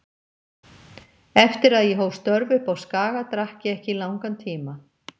Eftir að ég hóf störf uppi á Skaga, drakk ég ekki í langan tíma.